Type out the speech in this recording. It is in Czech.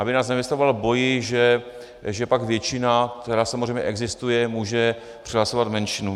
Aby nás nevystavoval boji, že pak většina, která samozřejmě existuje, může přehlasovat menšinu.